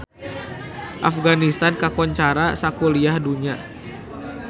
Afganistan kakoncara sakuliah dunya